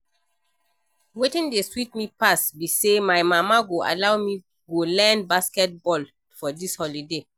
Wetin dey sweet me pass be say my mama go allow me go learn basket ball for dis holiday